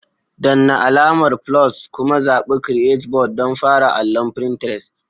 Danna alamar "+" kuma zaɓi "Create Board" don fara allon Pinterest.